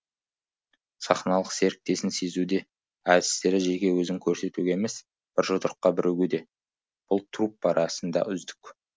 сахналық серіктесін сезуде әртістері жеке өзін көрсетуге емес бір жұдырыққа бірігуде бұл труппа расында үздік